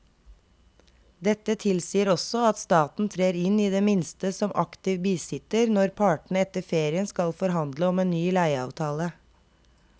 Dette tilsier også at staten trer inn i det minste som aktiv bisitter når partene etter ferien skal forhandle om en ny leieavtale.